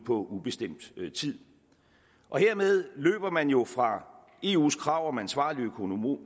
ubestemt tid hermed løber man jo fra eus krav om ansvarlig